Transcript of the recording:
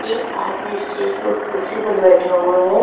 एक आदमी स्टेज पर कुर्सी पर बैठा हुआ है।